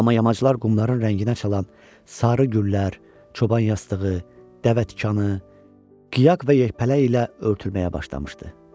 Amma yamaçlar qumların rənginə çalan sarı güllər, çoban yastığı, dəvətikanı, qıyaq və yelpələk ilə örtülməyə başlamışdı.